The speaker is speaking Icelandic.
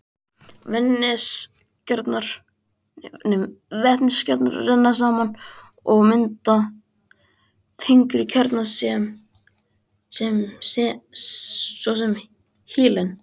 Vetniskjarnar renna saman og mynda þyngri kjarna, svo sem helín.